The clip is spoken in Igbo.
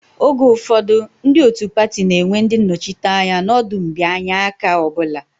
Oge ụfọdụ, ndị otu pati na-enwe ndị nnọchiteanya n'ọdụ mbịanye aka ọ bụla